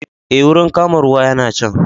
Eh, wurin kama ruwa yana can